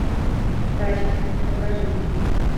тачки покажи